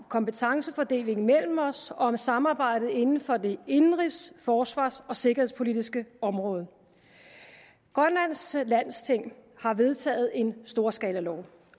kompetencefordelingen mellem os og for samarbejdet inden for det indenrigs forsvars og sikkerhedspolitiske område grønlands landsting har vedtaget en storskalalov